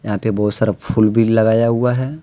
यहां पे बहुत सारा फुल भी लगाया हुआ हैं।